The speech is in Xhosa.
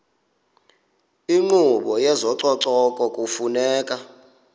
inkqubo yezococeko kufuneka